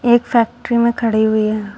एक फैक्ट्री में खड़ी हुई है।